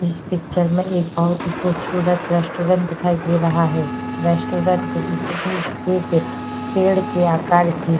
इस पिक्चर में एक बहोत ही खूबसूरत रेस्टोरेंट दिखाई दे रहा है। रेस्टारेंट के बीचो-बीच एक पेड़ के आकार की --